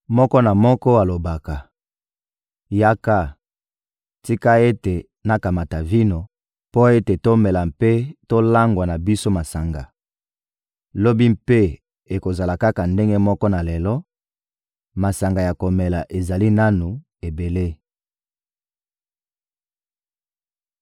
Moko na moko alobaka: «Yaka! Tika ete nakamata vino mpo ete tomela mpe tolangwa na biso masanga! Lobi mpe ekozala kaka ndenge moko na lelo, masanga ya komela ezali nanu ebele!»